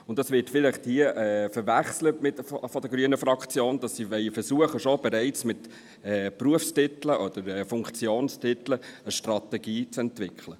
Dies wird vielleicht hier von der grünen Fraktion verwechselt, indem man versucht, bereits mit Berufs- oder Funktionsbezeichnungen eine Strategie zu entwickeln.